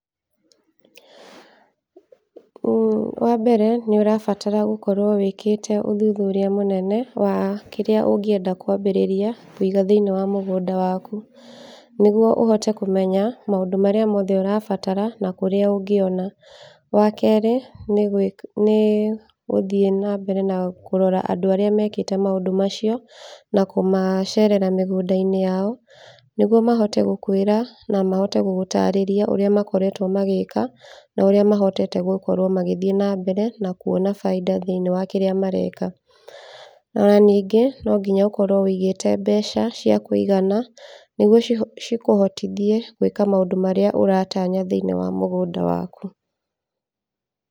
Wa mbere nĩ ũrabatara gũkorwo wĩkĩte ũthuthuria mũnene wa kĩrĩa ũngĩenda kwambĩrĩria kũiga thĩiniĩ wa mũgũnda waku, nĩgwo ũhote kũmenya maũndũ marĩa mothe ũrabatara na kũrĩa ũngĩona. Wa kerĩ, nĩ gũthii na mbere na kũrora andũ arĩa mekĩte maũndũ macio na kũmacerera mĩgũnda-inĩ yao, nĩgwo mahote gũkwĩra na mahote gũgũtarĩria ũrĩa makoretwo magĩĩka, na ũrĩa mahotete gũthii na mbere na kuona baida thĩiniĩ wa kĩrĩa mareka. Ona ningĩ, no nginya ũkorwo wĩigĩte mbeca cĩa kũigana nĩgwo cikũhotithie gwĩka maũndũ marĩa ũratanya thĩiniĩ wa mũgũnda waku.